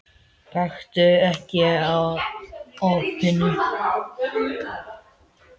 Gakktu ekki að opinu.